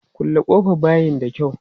Kulle ƙofan bayin da kyau!